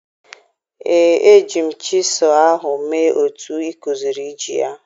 Ee, eji m chisel ahụ mee otu ị kuziri iji ya.